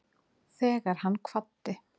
Þegar hann kvaddi